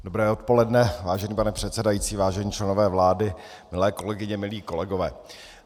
Dobré odpoledne, vážený pane předsedající, vážení členové vlády, milé kolegyně, milí kolegové.